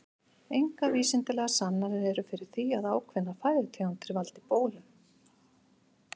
Engar vísindalegar sannanir eru fyrir því að ákveðnar fæðutegundir valdi bólum.